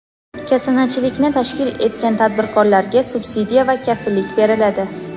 Kasanachilikni tashkil etgan tadbirkorlarga subsidiya va kafillik beriladi.